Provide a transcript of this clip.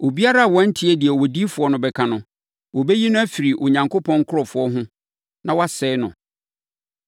Obiara a wantie deɛ odiyifoɔ no bɛka no, wɔbɛyi no afiri Onyankopɔn nkurɔfoɔ ho na wɔasɛe no.’